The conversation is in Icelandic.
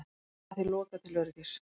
Leiðinni var því lokað til öryggis